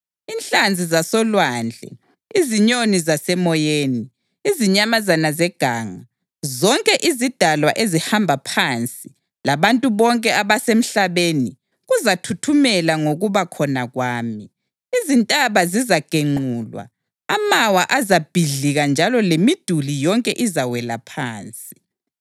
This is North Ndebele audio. Inhlanzi zasolwandle, izinyoni zasemoyeni, izinyamazana zeganga, zonke izidalwa ezihamba phansi, labantu bonke abasemhlabeni kuzathuthumela ngokuba khona kwami. Izintaba zizagenqulwa, amawa azabhidlika njalo lemiduli yonke izawela phansi.